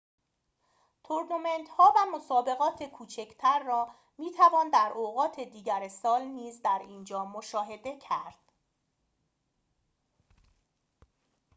تورنمنت‌ها و مسابقات کوچکتر را می توان در اوقات دیگر سال نیز در اینجا مشاهده کرد